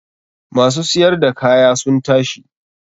Ma su siyar da kaya sun tashi.